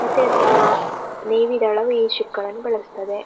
ಮತ್ತೆ ಆ ನೇವಿ ಗಳು ಈ ಶಿಪ್ ಅನ್ನು ಬಳಸುತ್ತಾರೆ.